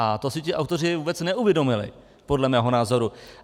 A to si ti autoři vůbec neuvědomili podle mého názoru.